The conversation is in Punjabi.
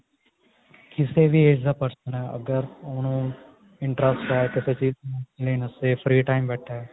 ਕਿਸੇ ਵੀ age ਦਾ person ਅਗਰ ਹੁਣ interest ਹੈ ਕਿਸੇ ਚੀਜ਼ ਚ ਨੂੰ ਲੈਣ ਵਾਸਤੇ free time ਬੈਠਾ